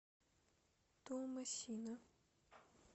туамасина